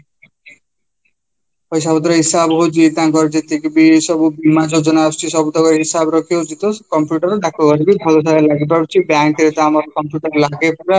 ପଇସା ପତ୍ର ହିସାବ ହଉଚି ତାଙ୍କର ଯେତିକିବି ସବୁ ବୀମା ଯୋଜନା ଆସୁଛି ସବୁତକ ହିସାବ ରଖିହଉଚି ତ computer ଡାକଘେରେ ଲାଗିପାରୁଛି bank ରେ ତ ଆମର computer ଲାଗେ ପୁରା